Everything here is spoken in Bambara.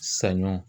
Saɲɔ